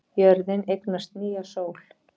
Jörðin eignast nýja sól